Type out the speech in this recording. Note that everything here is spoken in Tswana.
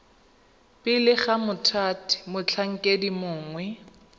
pele ga mothati motlhankedi mongwe